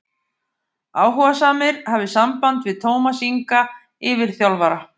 Áhugasamir hafi samband við Tómas Inga yfirþjálfara.